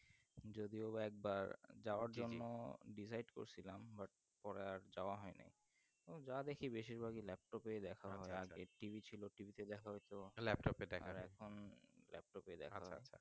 যদিও বা একবার যাওযার জন্য Decide নিলাম বা পরে আর যায় হয় নাই যা দেখি বেশির ভাগই laptop এ দেখা হয় আগে TV ছিল TV তে দেখা হতো আর এখন laptop এ দেখা